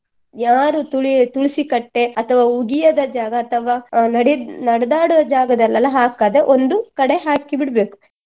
ಯಾರೂ ತುಳಿಯು~ ತುಳಿಸಿಕಟ್ಟೆ ಅಥವಾ ಉಗಿಯದ ಜಾಗ ಅಥವಾ ಅಹ್ ನಡೆ ನಡೆದಾಡುವ ಜಾಗದಲ್ಲೆಲ್ಲಾ ಹಾಕದೆ ಒಂದು ಕಡೆ ಹಾಕಿ ಬಿಡ್ಬೇಕು.